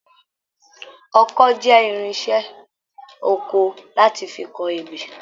Ọkọ́ jẹ irinṣẹ́ oko láti fí kọ ebè.